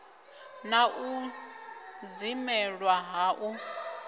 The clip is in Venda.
na u dzimelwa ha u